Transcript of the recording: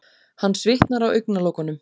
Hann svitnar á augnalokunum.